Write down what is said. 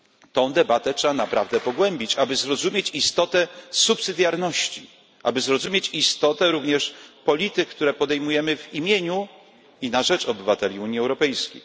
Tę debatę trzeba naprawdę pogłębić, aby zrozumieć istotę subsydiarności, aby zrozumieć istotę również polityk, które podejmujemy w imieniu i na rzecz obywateli Unii Europejskiej.